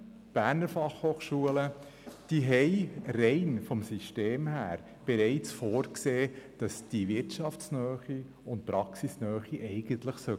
Bei der BFH ist es schon aufgrund des Systems vorgesehen, dass sie wirtschafts- und praxisnah sein muss.